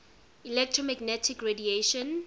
electromagnetic radiation